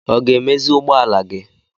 Ọ ga-emezi ụgbọala gị?